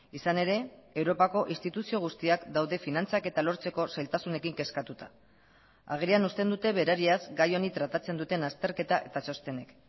izan ere europako instituzio guztiak daude finantzaketa lortzeko zailtasunekin kezkatuta agerian usten dute berariaz gai honi tratatzen duten azterketa eta txostenek